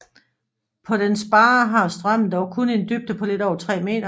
På dens barre har strømmen dog kun en dybde på lidt over 3 meter